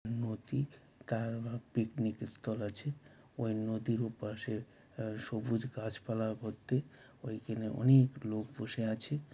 নদী তার উ পিকনিক স্থল আছে ওই নদীর ওপাশে অ্যা সুবজ গাছপালা ভর্তি ঐখানে অনেক লোক বসে আছে।